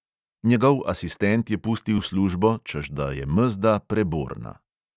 Njegov asistent je pustil službo, češ da je mezda preborna.